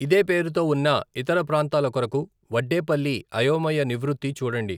ఇదే పేరుతో ఉన్న ఇతర ప్రాంతాల కొరకు వడ్డేపల్లి అయోమయ నివృత్తి చూడండి.